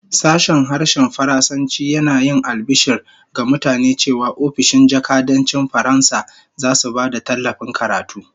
Sashen Harshen Faransanci yana yin albishir ga mutane cewa ofishin jakadancin Faransa zasu ba da tallafin karatu